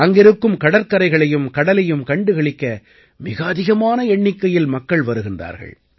அங்கிருக்கும் கடற்கரைகளையும் கடலையும் கண்டுகளிக்க மிக அதிகமான எண்ணிக்கையில் மக்கள் வருகிறார்கள்